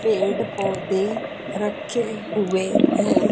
पेड़ पौदे रखे हुए है।